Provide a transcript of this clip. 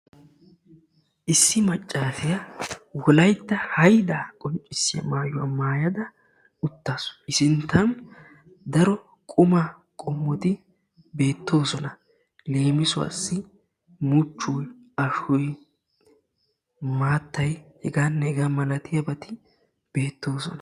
Issi maccaasiya wolaytta haydaa qonccissiya maayuwa maayada uttaasu. I sinttan daro qumaa qommoti beettoosona. Leemisuwassi muchoyi, ashoyi, maattay hegaanne hegaa malatiyabati beettoosona.